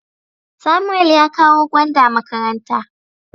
Samuel ya kawo gwanda makaranta.